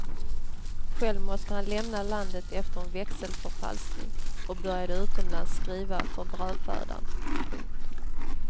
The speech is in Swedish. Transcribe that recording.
Själv måste han lämna landet efter en växelförfalskning och började utomlands skriva för brödfödan. punkt